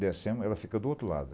Descemos, ela fica do outro lado.